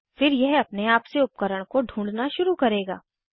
फिर यह अपने आप से उपकरण को ढूँढना शुरू करेगा